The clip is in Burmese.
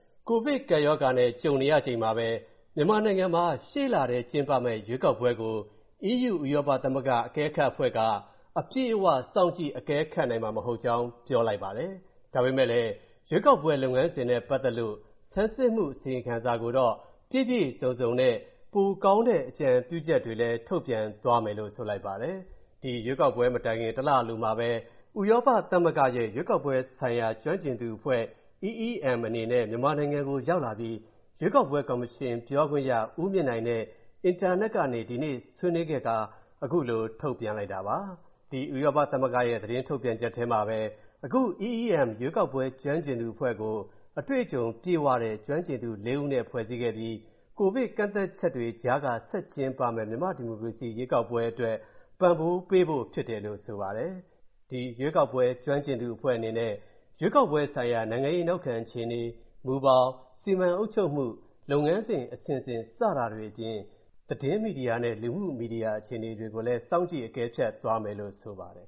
ကိုဗစ်ကပ်ရောဂါနဲ့ ကြုံနေရချိန်မှာပဲ မြန်မာနိုင်ငံမှာ ရှေ့လထဲ ကျင်းပမယ့် ရွေးကောက်ပွဲကို EU ဥရောပသမဂ္ဂအကဲခတ်အဖွဲ့က အပြည့်အ၀ စောင့်ကြည့် အကဲခတ်နိုင်မှာ မဟုတ်ကြောင်း ပြောဆိုလိုက်ပါတယ်။ ဒါပေမဲ့လည်း ရွေးကောက်ပွဲလုပ်ငန်းစဉ်နဲ့ ပတ်သက်လို့ ဆန်းစစ်မှု အစီရင်ခံစာကိုတော့ ပြည့်ပြည့်စုံစုံနဲ့ ပိုကောင်းတဲ့ အကြံပြုချက်တွေကိုတော့ ထုတ်ပြန်ပေးသွားမယ်လို့ ဆိုပါတယ်။ ဒီရွေးကောက်ပွဲမတိုင်ခင် တလအလိုမှာပဲ၊ ဥရောပသမဂ္ဂရဲ့ ရွေးကောက်ပွဲဆိုင်ရာကျွမ်းကျင်သူအဖွဲ့ EEM အနေနဲ့ မြန်မာနိုင်ငံရောက်လာပြီး၊ ရွေးကောက်ပွဲကော်မရှင်ပြောခွင့်ရ ဦးမြင့်နိုင်နဲ့ အင်တာနက်ကနေ ဒီနေ့ဆွေးနွေးခဲ့ခါ၊ ခုလိုထုတ်ပြန်လိုက်တာပါ။ ဒီဥရောပသမဂ္ဂရဲ့ သတင်းထုတ်ပြန်ချက်ထဲမှာပဲ အခု EEM ရွေးကောက်ပွဲကျွမ်းကျင်သူအဖွဲ့ကို၊ အတွေ့အကြုံပြည့်ဝတဲ့ ကျွမ်းကျင်သူ ၄ ဦးနဲ့ ဖွဲ့စည်းခဲ့ပြီး၊ ကိုဗစ်ကန့်သတ်ချက်တွေကြားက ဆက်ကျင်းပမယ့် မြန်မာ့ဒီမိုကရေစီရွေးကောက်ပွဲအတွက် ပံ့ပိုးပေးဖို့ဖြစ်တယ်လို့ ဆိုပါတယ်။ ဒီရွေးကောက်ပွဲ ကျွမ်းကျင်သူအဖွဲ့အနေနဲ့ ရွေးကောက်ပွဲဆိုင်ရာ နိုင်ငံရေးနောက်ခံအခြေအနေ၊ မူဘောင်၊ စီမံအုပ်ချုပ်မှု၊ လုပ်ငန်းစဉ်အဆင့်ဆင့် စတာတွေအပြင်၊ သတင်းမီဒီယာနဲ့ လူမှုမီဒီယာအခြေအနေတွေကိုလည်း စောင့်ကြည့်အကဲဖြတ်သွားမယ်လို့ ဆိုပါတယ်